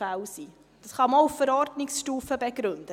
Das kann man auch auf Verordnungsstufe begründen.